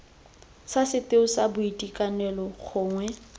sa setheo sa boitekanelo gongwe